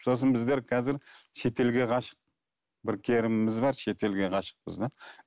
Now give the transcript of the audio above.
сосын біздер қазір шетелге ғашық бір керіміміз бар шетелге ғашықпыз да